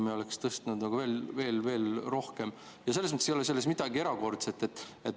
Selles mõttes ei ole selles midagi erakordset.